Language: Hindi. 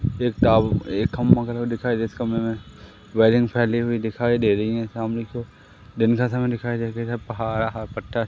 एक दिखाई दे इस कमरे में वायरिंग फैली हुई दिखाई दे रही हैं सामने की ओर दिन का समय दिखाई